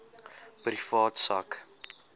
privaat sak